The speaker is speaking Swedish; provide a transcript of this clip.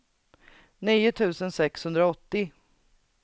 nio tusen sexhundraåttio